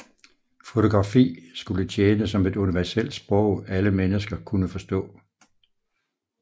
Fotografi skulle tjene som et universelt sprog alle mennesker kunne forstå